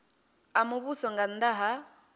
a muvhuso nga nnda ha